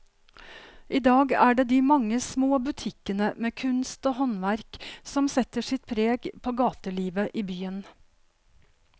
I dag er det de mange små butikkene med kunst og håndverk som setter sitt preg på gatelivet i byen.